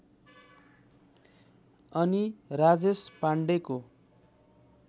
अनि राजेश पाण्डेको